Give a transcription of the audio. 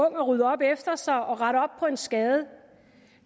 at rydde op efter sig og rette op på en skade